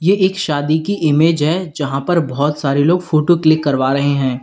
ये एक शादी की इमेज है जहां पर बहोत सारे लोग फोटो क्लिक करवा रहे हैं।